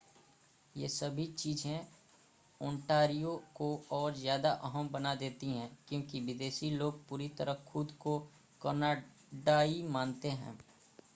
ये सभी चीज़ें ओंटारियो को और ज़्यादा अहम बना देती हैं क्योंकि विदेशी लोग पूरी तरह खुद को कनाडाई मानते हैं